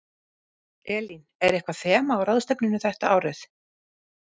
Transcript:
Elín, er eitthvað þema á ráðstefnunni þetta árið?